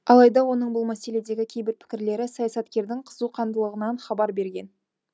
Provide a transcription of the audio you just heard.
алайда оның бұл мәселедегі кейбір пікірлері саясаткердің қызуқандылығынан хабар берген